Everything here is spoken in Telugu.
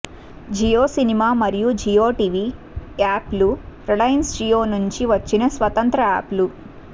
జియో సినిమా మరియు జియోటివి యాప్ లు రిలయన్స్ జియో నుండి వచ్చిన స్వతంత్ర యాప్ లు